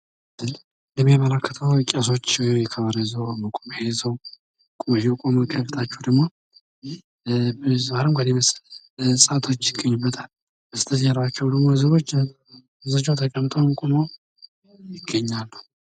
የሚያመለክተው ቄሶች ከበሮ ይዘው፤ መቋሚያ ይዘው የቆሙትን ትታችሁ ደሞ ብዙ አረንጓዴ እጽዋቶች ይገኙበታል። በስተጀርባቸው ደሞ ብዙዎቹ ተቀምጠውም ሆነ ቆመው ይታያሉ።